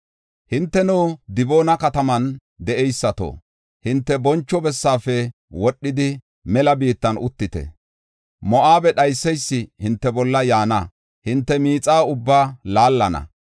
“Hinteno, Diboona kataman de7eysato, hinte boncho bessafe wodhidi, mela biittan uttite. Moo7abe dhayseysi hinte bolla yaana; hinte miixa ubbaa laallana.